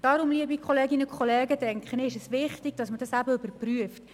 Darum, liebe Kolleginnen und Kollegen, denke ich, dass es wichtig ist, dass man das überprüft.